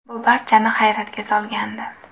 Bu barchani hayratga solgandi.